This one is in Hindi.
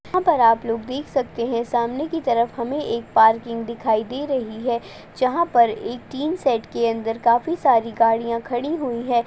यहाँ पर आप लोग देख सकते हैं सामने की तरफ हमें एक पार्किग दिखाई दे रही है जहाँ पर एक टीन शेड के अंदर काफी सारी गाड़िया खड़ी हुई हैं।